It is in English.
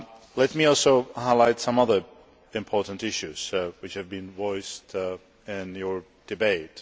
Let me also highlight some other important issues which have been voiced in your debate.